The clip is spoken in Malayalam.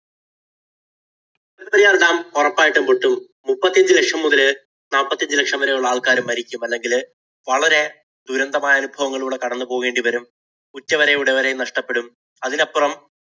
മുല്ലപ്പെരിയാര്‍ dam ഉറപ്പായിട്ടും പൊട്ടും. മുപ്പത്തിയഞ്ചു ലക്ഷം മുതല് നാല്പത്തിയഞ്ച് ലക്ഷം വരെയുള്ള ആള്‍ക്കാര് മരിക്കും. അല്ലെങ്കില് വളരെ ദുരന്തമായ അനുഭവങ്ങളിലൂടെ കടന്നു പോകേണ്ടി വരും. ഉറ്റവരെയും ഉടയവരെയും നഷ്ടപ്പെടും. അതിലപ്പുറം